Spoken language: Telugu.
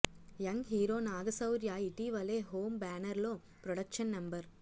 యంగ్ హీరో నాగశౌర్య ఇటీవలే హోమ్ బ్యానర్లో ప్రొడక్షన్ నెం